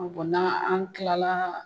ko n'an an tilalaa